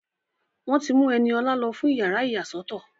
Wọ́n ti mú Ẹniọlá lọ fún yàrá ìyàsọ́tọ̀